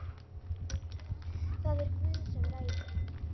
Það er Guð sem ræður.